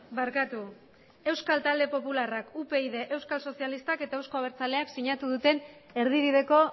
barkatu euskal talde popularrak upyd euskal sozialistak eta eusko abertzaleak sinatu duten erdibideko